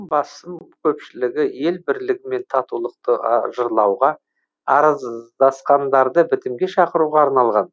басым көпшілігі ел бірлігі мен татулықты жырлауға араздасқандарды бітімге шақыруға арналған